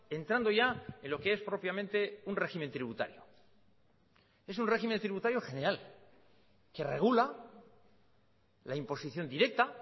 entrando ya en lo que es propiamente un régimen tributario es un régimen tributario general que regula la imposición directa